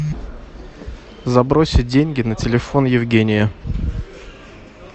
забросить деньги на телефон евгения